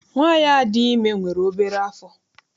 Nwaanyi a dị ime enweghị nwere obere afọ.